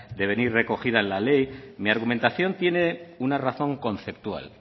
de venir recogida la ley mi argumentación tiene una razón conceptual